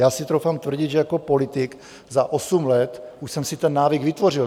Já si troufám tvrdit, že jako politik za osm let už jsem si ten návyk vytvořil.